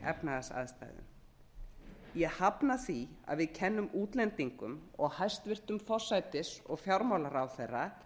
efnahagsaðstæðum ég hafna því að við kennum útlendingum og hæstvirtur forsætis og fjármálaráðherra